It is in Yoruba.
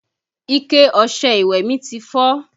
Ike ọṣẹ ìwẹ̀ mi ti fọ́